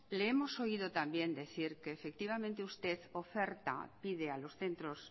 le hemos oído también decir que efectivamente usted oferta pide a los centros